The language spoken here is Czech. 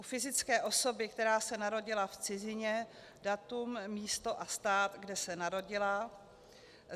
u fyzické osoby, která se narodila v cizině, datum, místo a stát, kde se narodila,